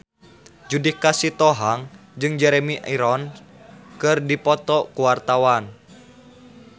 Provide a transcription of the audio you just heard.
Judika Sitohang jeung Jeremy Irons keur dipoto ku wartawan